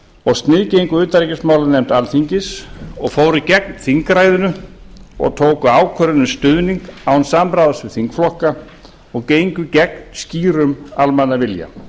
og sniðgengu utanríkismálanefnd alþingis og fóru gegn þingræðinu og tóku ákvörðun um stuðning án samráðs við þingflokka og gengu gegn skýrum almannavilja